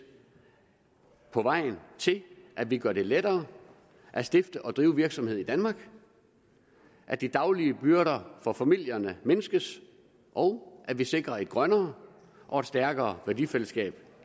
på vejen til at vi gør det lettere at stifte og drive virksomhed i danmark at de daglige byrder for familierne mindskes og at vi sikrer et grønnere og et stærkere værdifællesskab